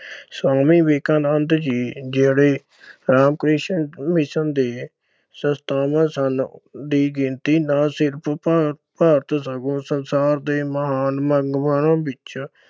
ਸੁਆਮੀ ਵਿਵੇਕਾਨੰਦ ਜੀ ਜਿਹੜੇ ਰਾਮਕ੍ਰਿਸ਼ਨ ਦੇ ਸੰਸਥਾਪਕ ਸਨ ਦੀ ਗਿਣਤੀ ਨਾ ਸਿਰਫ ਭਾਰ ਅਹ ਭਾਰਤ ਸਗੋਂ ਸੰਸਾਰ ਦੇ ਮਹਾਨ ਵਿੱਚੋਂ